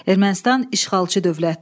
Ermənistan işğalçı dövlətdir.